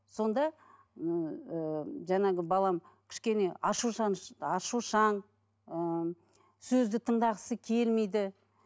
сонда ыыы жаңағы балам кішкене ашушаң ыыы сөзді тыңдағысы келмейді